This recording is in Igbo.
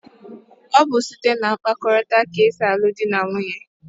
Ọ bụ site na mkparịkọtaụka ka e si alụ dị na nwunye.